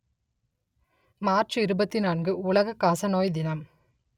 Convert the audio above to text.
March இருபத்தி நான்கு உலக காசநோய் தினம்